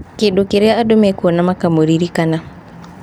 Kĩndũ kĩrĩa andũ mekuona makamũririkana."